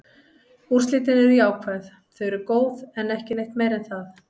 Úrslitin eru jákvæð, þau eru góð, en ekki neitt meira en það.